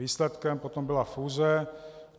Výsledkem potom byla fúze.